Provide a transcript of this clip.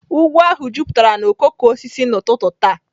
Ugwu ahụ jupụtara na okooko osisi n'ụtụtụ taa.